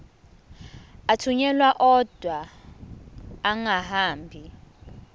athunyelwa odwa angahambi